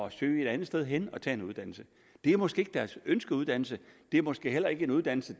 at søge et andet sted hen og tage en uddannelse det er måske ikke deres ønskeuddannelse det er måske heller ikke en uddannelse